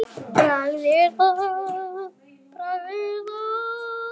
Bragð er að.